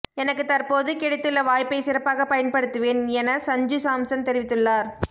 எனக்கு தற்போத கிடைத்துள்ள வாய்ப்பை சிறப்பாக பயன்படுத்துவேன் என சஞ்சு சாம்சன் தெரிவித்துள்ளார்